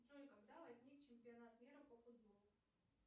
джой когда возник чемпионат мира по футболу